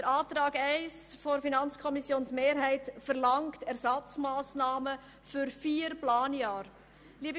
Die Planungserklärung 1 der FiKo-Mehrheit verlangt Ersatzmassnahmen für vier Planjahre.